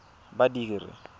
badiri